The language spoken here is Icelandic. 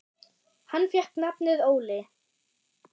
Hann fékk nafnið Óli.